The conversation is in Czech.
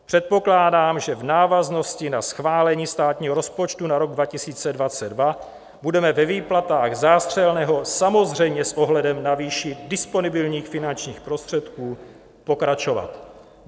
Předpokládám, že v návaznosti na schválení státního rozpočtu na rok 2022 budeme ve výplatách zástřelného samozřejmě s ohledem na výši disponibilních finančních prostředků pokračovat.